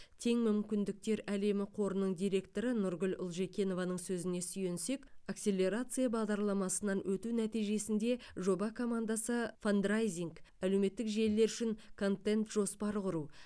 тең мүмкіндіктер әлемі қорының директоры нұргүл ұлжекованың сөзіне сүйенсек акселерация бағдарламасынан өту нәтижесінде жоба командасы фандрайзинг әлеуметтік желілер үшін контент жоспар құру